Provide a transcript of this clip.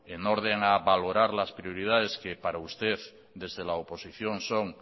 en orden a valorar las prioridades que para usted desde la oposición son